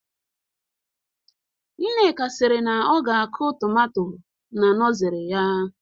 Nneka siri na ọ ga akụ tomato na nọzery ya